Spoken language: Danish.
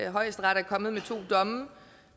at højesteret er kommet med to domme